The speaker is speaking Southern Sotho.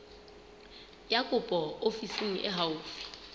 ya kopo ofising e haufi